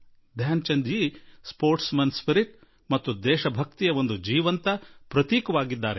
ಧ್ಯಾನ್ ಚಂದ್ ಜೀ ಕ್ರೀಡಾಪಟುವಿನ ಭಾವನೆ ಮತ್ತು ದೇಶಭಕ್ತಿಗೆ ಒಂದು ಜ್ವಲಂತ ನಿದರ್ಶನವಾಗಿದ್ದರು